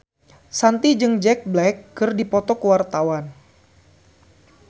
Shanti jeung Jack Black keur dipoto ku wartawan